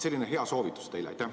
Selline hea soovitus teile!